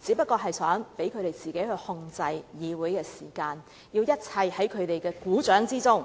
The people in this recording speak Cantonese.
自己操控議會的時間，令一切在他們股掌之中。